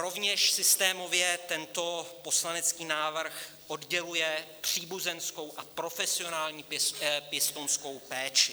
Rovněž systémově tento poslanecký návrh odděluje příbuzenskou a profesionální pěstounskou péči.